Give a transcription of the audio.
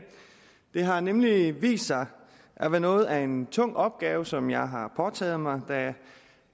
det har nemlig vist sig at være noget af en tung opgave som jeg har påtaget mig da